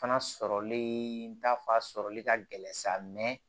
Fana sɔrɔli ta fa sɔrɔli ka gɛlɛn sa